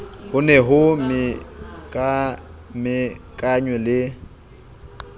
ho se ho mekamekanwe le